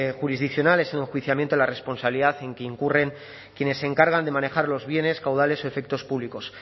jurisdiccional es el enjuiciamiento a la responsabilidad en que incurren quienes se encargan de manejar los bienes caudales y efectos públicos